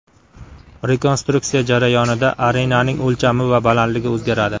Rekonstruksiya jarayonida arenaning o‘lchami va balandligi o‘zgaradi.